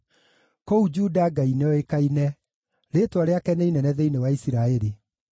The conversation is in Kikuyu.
Kũu Juda Ngai nĩoĩkaine; rĩĩtwa rĩake nĩ inene thĩinĩ wa Isiraeli.